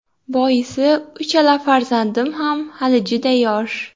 Boisi uchala farzandim ham hali juda yosh.